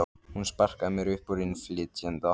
Hún sparkaði mér upp úr innflytjenda